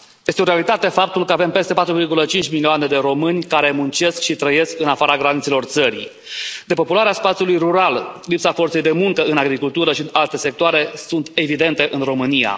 Este o realitate faptul că avem peste 4,5 milioane de români care muncesc și trăiesc în afara granițelor țării. Depopularea spațiului rural, lipsa forței de muncă în agricultură și în alte sectoare sunt evidente în România.